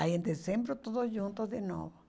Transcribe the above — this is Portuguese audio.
Aí em dezembro tudo junto de novo.